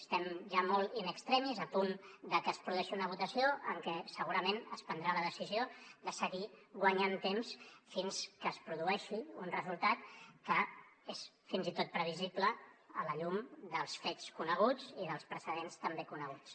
estem ja molt in extremis a punt de que es produeixi una votació en què segurament es prendrà la decisió de seguir guanyant temps fins que es produeixi un resultat que és fins i tot previsible a la llum dels fets coneguts i dels precedents també coneguts